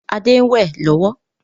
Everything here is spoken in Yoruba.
Adé ń wẹ lọ́wọ́